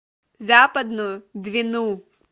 западную двину